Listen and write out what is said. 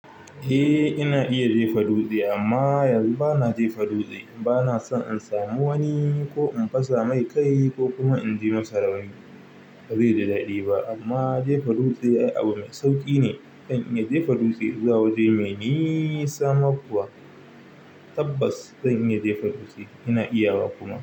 Eh ina iya jefa dutse amma yanzu bana jefa dutse. Bana son in samu wani ko in fasa mai kai ko kuma in ji masa rauni. Ba zai ji daɗi ba amma jefa dutse abu mai sauƙi ne. Na kan iya jefa dutse zuwa waje mai nisa sa ma kuwa. Tabbas zan iya jefa dutse. Ina iya wa kuma.